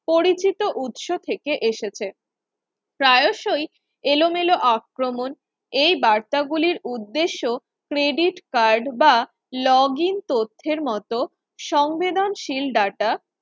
পরিচিত উৎস থেকে এসেছে, প্রায়শই এলোমেলো আক্রমণ এই বার্তাগুলোর উদ্দেশ্য credit card বা login তথ্যের মতো সংবেদনশীল data